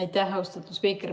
Aitäh, austatud spiiker!